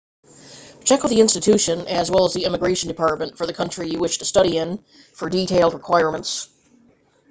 check with the institution as well as the immigration department for the country you wish to study in for detailed requirements